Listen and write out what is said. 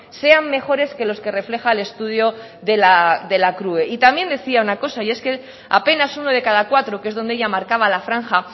sean mejores que los que refleja el estudio de la crue y también decía una cosa y es que apenas de uno de cada cuatro que es donde ella marcaba la franja